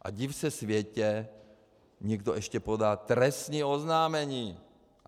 A div se světe, někdo ještě podá trestní oznámení.